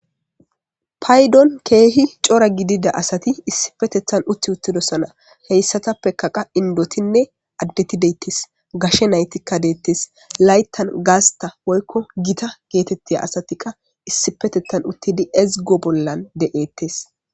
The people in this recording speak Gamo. Payddon keehi cora gidida asati issipetethan utti uttidosana heyssatapekaqa indotinne addetideyttes gashe naytikka deettes layttan gaasta woykko gita geetettiya asatikka issipetetan uttidi ezgo bollan de'eettes